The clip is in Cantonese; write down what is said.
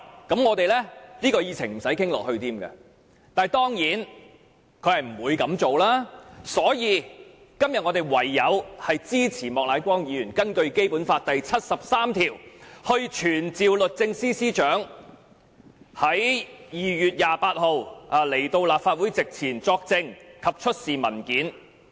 但是，她當然不會這樣做，所以我們今天唯有支持莫乃光議員根據《基本法》第七十三條動議的議案，傳召律政司司長在2月28日到立法會席前作證及出示文件。